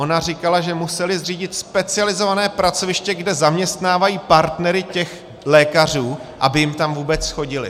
Ona říkala, že museli zřídit specializované pracoviště, kde zaměstnávají partnery těch lékařů, aby jim tam vůbec chodili.